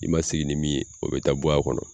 I man sigi ni min ye o bɛ taa bɔ a kɔnɔ.